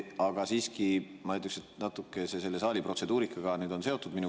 Ma ütleksin, et mu küsimus on natuke selle saali protseduurikaga seotud.